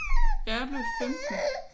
Jeg blev i 15